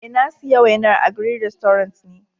Eh, na siya wainan a green restaurant ne.